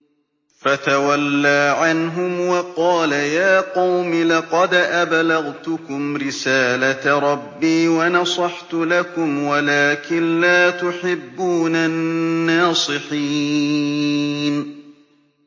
فَتَوَلَّىٰ عَنْهُمْ وَقَالَ يَا قَوْمِ لَقَدْ أَبْلَغْتُكُمْ رِسَالَةَ رَبِّي وَنَصَحْتُ لَكُمْ وَلَٰكِن لَّا تُحِبُّونَ النَّاصِحِينَ